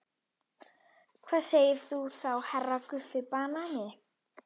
Og hvað segir þú þá HERRA Guffi banani?